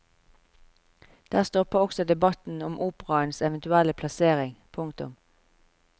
Der stopper også debatten om operaens eventuelle plassering. punktum